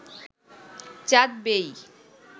চাঁদ বেয়েই